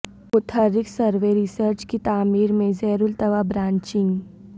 متحرک survey research کی تعمیر میں زیر التواء برانچنگ